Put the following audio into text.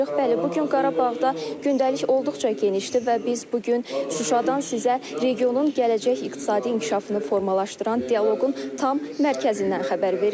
Bəli, bu gün Qarabağda gündəlik olduqca genişdir və biz bu gün Şuşadan sizə regionun gələcək iqtisadi inkişafını formalaşdıran dialoqun tam mərkəzindən xəbər veririk.